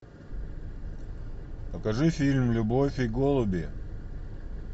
покажи фильм любовь и голуби